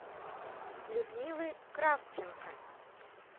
людмилы кравченко